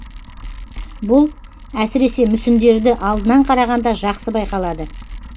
бұл әсіресе мүсіндерді алдынан қарағанда жақсы байқалады